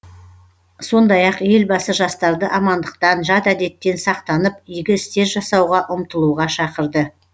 сондай ақ елбасы жастарды амандықтан жат әдеттен сақтанып игі істер жасауға ұмтылуға шақырды